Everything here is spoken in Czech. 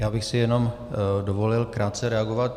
Já bych si jenom dovolil krátce reagovat.